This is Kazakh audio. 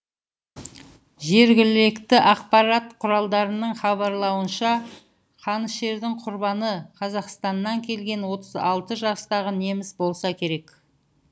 жергілікті ақпарат құралдарының хабарлауынша қанішердің құрбаны қазақстаннан келген отыз алты жастағы неміс болса керек